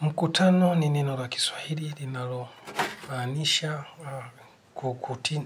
Mkutano, ni neno la Kiswahili, linalo maanisha